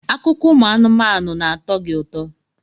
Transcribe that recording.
Akụkọ ụmụ anụmanụ na-atọ gị ụtọ?